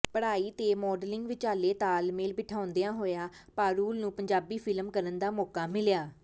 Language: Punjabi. ਪੜ੍ਹਾਈ ਤੇ ਮਾਡਲਿੰਗ ਵਿਚਾਲੇ ਤਾਲਮੇਲ ਬਿਠਾਉਂਦਿਆਂ ਹੋਇਆਂ ਪਾਰੁਲ ਨੂੰ ਪੰਜਾਬੀ ਫ਼ਿਲਮ ਕਰਨ ਦਾ ਮੌਕਾ ਮਿਲਿਆ